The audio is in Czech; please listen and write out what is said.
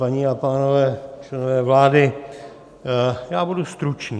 Paní a pánové, členové vlády, já budu stručný.